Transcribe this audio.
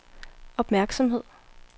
opmærksomhed